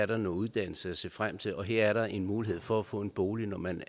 der er noget uddannelse at se frem til og her er en mulighed for at få en bolig når man